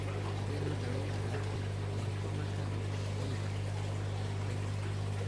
Sidee loo daweyn karaa lympomaka unugga Mantleka?